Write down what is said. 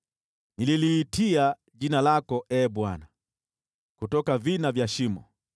Nililiitia jina lako, Ee Bwana , kutoka vina vya shimo.